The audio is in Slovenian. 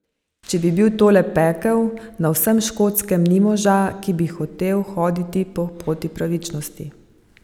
Če je bil tole pekel, na vsem Škotskem ni moža, ki bi hotel hoditi po poti pravičnosti.